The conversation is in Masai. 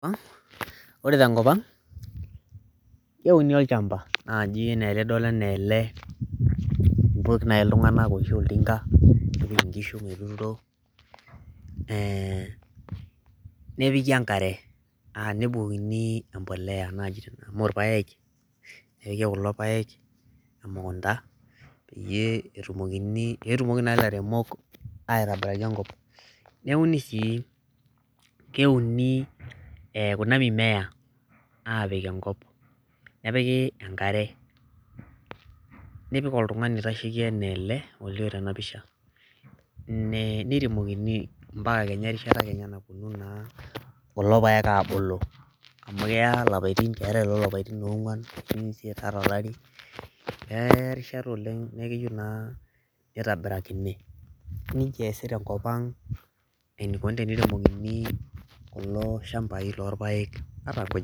Ore tenkop ang, keuni olchamba naaji anaa enidolita anaa ele tenakata ,nepikik enkare, nebukokini empolea amu irpayek nepiki kulo payek emukunta peyie etumoki naa lairemok airemoki enkop, neuni sii kuna mimea aapik enkop nepiki enkare nipik oltungani oitasheiki anaa ele olio tena picha mpaka kenya erishata naa nayetuo kulo payek aabulu ,amu keya lapaitin keetae loo lapaitin oongwan mpaka olari ,keya erishat oleng naa keyieu naa neitobirakini nejia eesi tenkop ang eneikoni teneitobirakini kulo shamai loo irpayek.